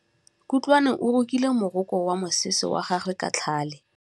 Kutlwanô o rokile morokô wa mosese wa gagwe ka tlhale.